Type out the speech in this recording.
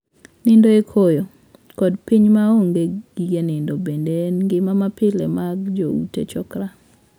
Nindo e koyo, kod piny ma onge gige nindo bende en ngima mapile mag joute 'chokra'.